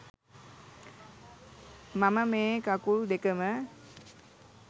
මම මේ කකුල් දෙකම